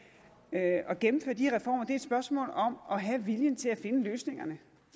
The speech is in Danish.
at at gennemføre de her reformer er et spørgsmål om at have viljen til at finde løsningerne